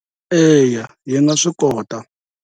Eya hi mga swikota.